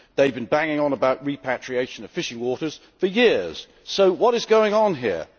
They have been banging on about repatriation of fishing waters for years so what is going on here?